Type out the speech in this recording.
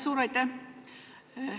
Suur aitäh!